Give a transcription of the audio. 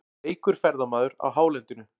Veikur ferðamaður á hálendinu